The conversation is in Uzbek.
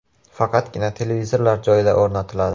Faqatgina televizorlar joyida o‘rnatiladi .